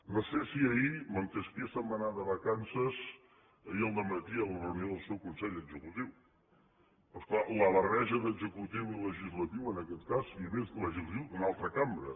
no sé si ahir montesquieu se’n va anar de vacances ahir al dematí en la reunió del seu consell executiu però és clar la barreja d’executiu i legislatiu en aquest cas i a més legislatiu d’una altra cambra